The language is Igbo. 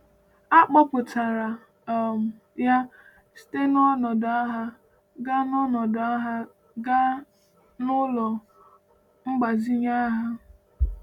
A kpọpụtara um ya site n’ọnọdụ agha gaa n’ọnọdụ agha gaa n’ụlọ mgbazinye agha.